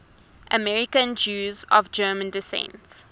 american jews of german descent